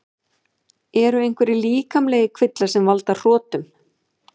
Eru einhverjir líkamlegir kvillar sem valda hrotum?